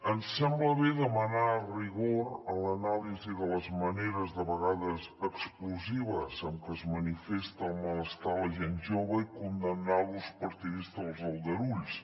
ens sembla bé demanar rigor en l’anàlisi de les maneres de vegades explosives en què es manifesta el malestar de la gent jove i condemnar l’ús partidista dels aldarulls